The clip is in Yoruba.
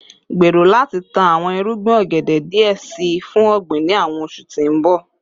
Gbero lati tan awọn irugbin ogede diẹ sii fun ogbin ni awọn oṣu ti n bọ